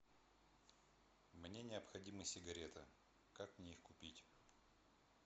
мне необходимы сигареты как мне их купить